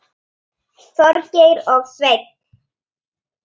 Þorgeir og Sveinn.